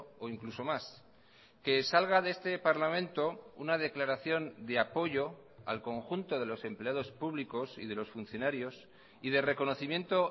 o incluso más que salga de este parlamento una declaración de apoyo al conjunto de los empleados públicos y de los funcionarios y de reconocimiento